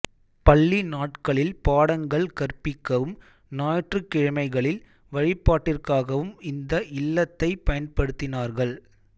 பள்ளி நாட்களில் பாடங்கள் கற்பிக்கவும் ஞாயிற்றுக் கிழமைகளில் வழிபாட்டிற்காகவும் இந்த இல்லத்தைப் பயன்படுத்தினார்கள்